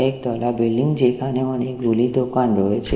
এক তলা বিল্ডিং যেখানে অনেকগুলি দোকান রয়েছে।